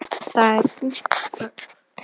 Það er þungt högg.